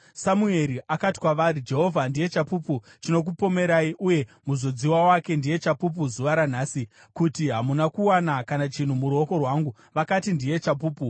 Samueri akati kwavari, “Jehovha ndiye chapupu chinokupomerai, uye muzodziwa wake ndiye chapupu zuva ranhasi, kuti hamuna kuwana kana chinhu muruoko rwangu.” Vakati, “Ndiye chapupu.”